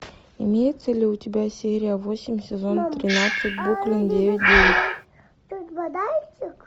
имееется ли у тебя серия восемь сезон тринадцать бруклин девять девять